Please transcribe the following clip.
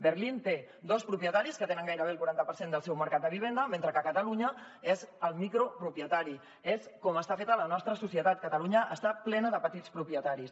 berlín té dos propietaris que tenen gairebé el quaranta per cent del seu mercat de vivenda mentre que a catalunya és el micropropietari és com està feta la nostra societat catalunya està plena de petits propietaris